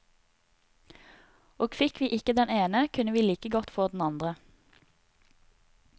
Og fikk vi ikke den ene, kunne vi like godt få den andre.